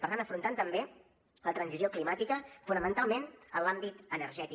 per tant afrontant també la transició climàtica fonamentalment en l’àmbit energètic